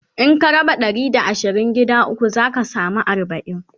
In ka raba Ɗari da asirin gida ukwu zaka samu arbain